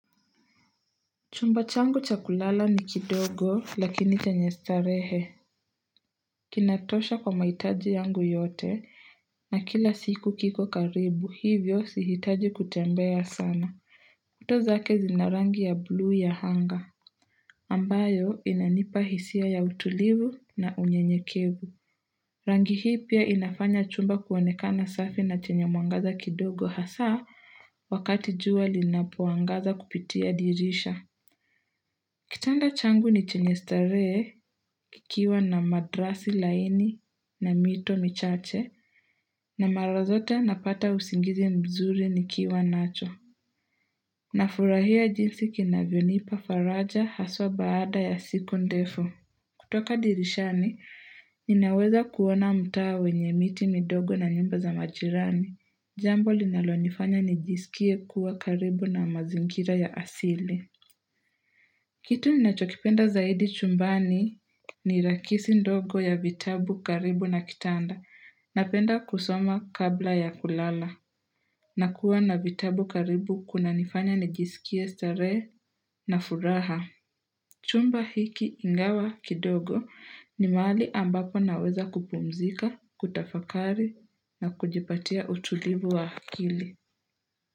Chumba changu cha kulala ni kidogo lakini chanye starehe. Kinatosha kwa mahitaji yangu yote na kila siku kiko karibu hivyo si hitaji kutembea sana. Kuto zake zina rangi ya blue ya anga. Ambayo inanipa hisia ya utulivu na unyenyekevu. Rangi hii pia inafanya chumba kuonekana safi na chenye mwangaza kidogo hasaa wakati jua linapoangaza kupitia dirisha. Kitanda changu ni chenye starehe kikiwa na matrasi laini na mito michache na mara zote napata usingizi mzuri nikiwa nacho. Nafurahia jinsi kinavyonipa faraja haswa baada ya siku ndefu. Kutoka dirishani, ninaweza kuona mtaa wenye miti midogo na nyumba za majirani. Jambo linalonifanya nijisikie kuwa karibu na mazingira ya asili. Kitu ninachokipenda zaidi chumbani ni rakisi ndogo ya vitabu karibu na kitanda. Napenda kusoma kabla ya kulala na kuwa na vitabu karibu kuna nifanya nijisikie starehe na furaha. Chumba hiki ingawa kidogo ni mahali ambapo naweza kupumzika, kutafakari na kujipatia utulivu wa hakili.